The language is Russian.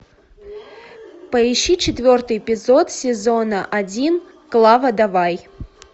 поищи четвертый эпизод сезона один клава давай